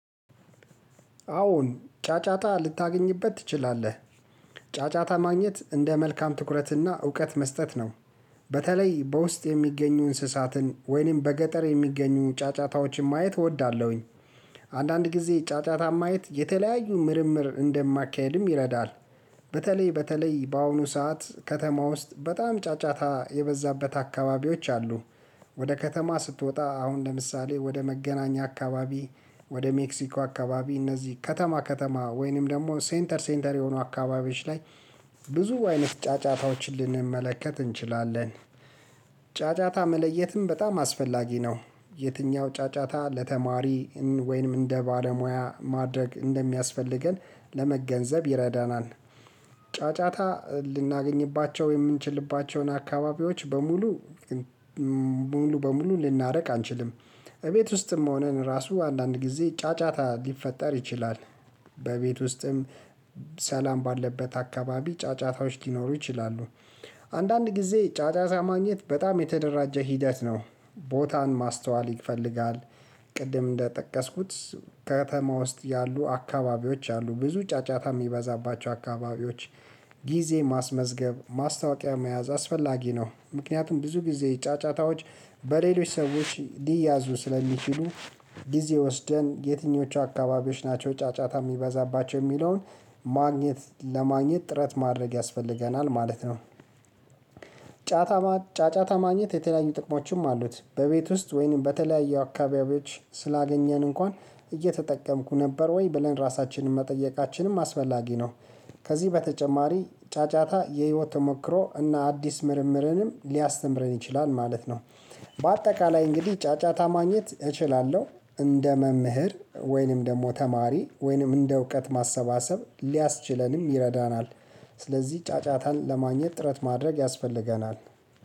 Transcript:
አዎን ጫጫታ ልታገኝበት ትችላለህ። ጫጫታ ማግኘት እንደ መልካም ትኩረት እና እውቀት መስጠት ነው። በተለይ በውስጥ የሚገኙ እንስሳትን ወይንም በገጠር የሚገኙ ጫጫታዎችን ማየት እወዳለሁኝ። አንዳንድ ጊዜ ጫጫታ ማየት የተለያዩ ምርምር እንደማካሄድም ይረዳል። በተለይ በተለይ በአሁኑ ሰዓት ከተማ ውስጥ በጣም ጫጫታ የበዛበት አካባቢዎች አሉ። ወደ ከተማ ስትወጣ አሁን ለምሳሌ ወደ መገናኛ አካባቢ ወደ ሜክሲኮ አካባቢ እነዚህ ከተማ ከተማ ወይንም ደግሞ ሴንተር ሴንተር የሆኑ አካባቢዎች ላይ ብዙ አይነት ጫጫታዎችን ልንመለከት እንችላለን። ጫጫታ መለየትም በጣም አስፈላጊ ነው። የትኛው ጫጫታ ለተማሪ ወይንም እንደ ባለሙያ ማድረግ እንደሚያስፈልገን ለመገንዘብ ይረዳናል። ጫጫታ ልናገኝባቸው የምንችልባቸውን አካባቢዎች በሙሉ ሙሉ በሙሉ ልናረቅ አንችልም። እቤት ውስጥም ሆነን ራሱ አንዳንድ ጊዜ ጫጫታ ሊፈጠር ይችላል። በቤት ውስጥም ሰላም ባለበት አካባቢ ጫጫታዎች ሊኖሩ ይችላሉ። አንዳንድ ጊዜ ጫጫታ ማግኘት በጣም የተደራጀ ሂደት ነው ቦታን ማስተዋል ይፈልጋል። ቅድም እንደጠቀስኩት ከተማ ውስጥ ያሉ አካባቢዎች አሉ ብዙ ጫጫታ የሚበዛባቸው አካባቢዎች። ጊዜ ማስመዝገብ ማስታወቂያ መያዝ አስፈላጊ ነው ምክንያቱም ብዙ ጊዜ ጫጫታዎች በሌሎች ሰዎች ሊያዙ ስለሚችሉ ጊዜ ወስደን የትኞቹ አካባቢዎች ናቸው ጫጫታ የሚበዛባቸው የሚለውን ማግኘት ለማግኘት ጥረት ማድረግ ያስፈልገናል ማለት ነው። ጫጫታ ጫጫታ ማግኘት የተለያዩ ጥቅሞችም አሉት በቤት ውስጥ ወይንም በተለያዩ አካባቢዎች ስላገኘን እንኳን እየተጠቀምኩ ነበር ወይ ብለን ራሳችንን መጠየቃችንም አስፈላጊ ነው። ከዚህ በተጨማሪ ጫጫታ የህይወት ተሞክሮ እና አዲስ ምርምርንም ሊያስተምረን ይችላል ማለት ነው። በአጠቃላይ እንግዲህ ጫጫታ ማግኘት እችላለሁ እንደ መምህር ወይንም ደግሞ ተማሪ ወይንም እንደ እውቀት ማሰባሰብ ሊያስችለንም ይረዳናል። ስለዚህ ጫጫታን ለማግኘት ጥረት ማድረግ ያስፈልገናል